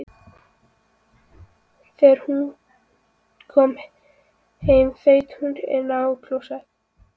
Þegar hún kom heim þaut hún inn á klósett.